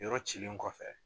Yɔrɔ cilen kɔfɛ